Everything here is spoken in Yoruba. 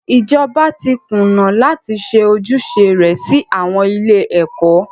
Ìjọba tí kùnà láti ṣe ojúṣe rẹ sí àwọn ilé ẹ̀kọ́.